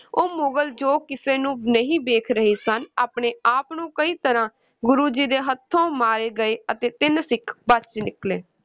ਉਹ ਮੁਗਲ ਜੋ ਕਿਸੇ ਨੂੰ ਨਹੀਂ ਦੇਖ ਰਹੇ ਸਨ, ਆਪਣੇ ਆਪ ਨੂੰ ਕਈ ਤਰ੍ਹਾਂ ਗੁਰੂ ਜੀ ਦੇ ਹੱਥੋਂ ਮਾਰੇ ਗਏ ਅਤੇ ਤਿੰਨ ਸਿੱਖ ਬਚ ਨਿਕਲੇ।